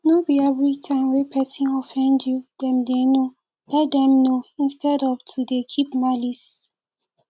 no be everytime wey person offend you dem dey know let them know instead of to dey keep malice